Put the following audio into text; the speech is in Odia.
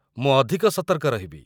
ମୁଁ ଅଧିକ ସତର୍କ ରହିବି।